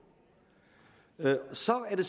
så er det